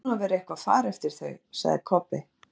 Það ætti nú að vera eitthvað far eftir þau, sagði Kobbi.